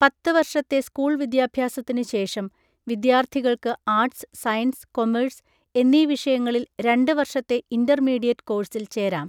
പത്ത്‌ വർഷത്തെ സ്കൂൾ വിദ്യാഭ്യാസത്തിന് ശേഷം വിദ്യാർത്ഥികൾക്ക് ആർട്സ്, സയൻസ്, കൊമേഴ്സ് എന്നീ വിഷയങ്ങളിൽ രണ്ട് വർഷത്തെ ഇൻ്റർമീഡിയറ്റ് കോഴ്സിൽ ചേരാം.